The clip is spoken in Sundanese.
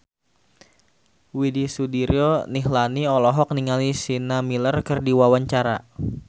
Widy Soediro Nichlany olohok ningali Sienna Miller keur diwawancara